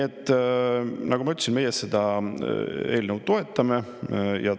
Nagu ma ütlesin, meie seda eelnõu toetame.